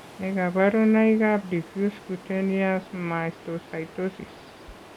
Nee kabarunoikab Diffuse cutaneous mastocytosis?